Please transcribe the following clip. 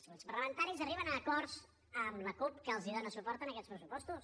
els grups parlamentaris arriben a acords amb la cup que els dona suport en aquests pressupostos